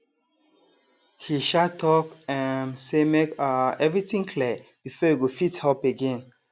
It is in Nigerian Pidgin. he um talk um say make um everything clear before e go fit help again